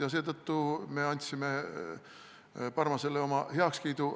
Ja seetõttu me andsime Parmasele oma heakskiidu.